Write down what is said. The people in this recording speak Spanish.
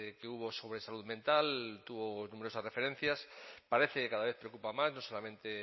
que hubo sobre salud mental tuvo numerosas referencias parece cada vez que ocupa más no solamente